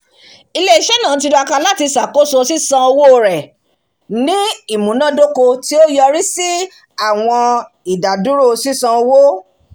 ilé-iṣẹ́ náà tiraka láti ṣàkóso sísan owó rẹ̀ ní imunadoko ti ó yọrí sí àwọn idaduro sisan owó